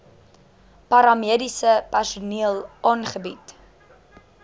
paramediese personeel aangebied